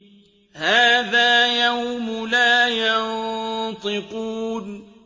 هَٰذَا يَوْمُ لَا يَنطِقُونَ